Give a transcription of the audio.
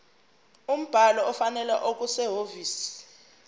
umbhalo ofanele okusehhovisi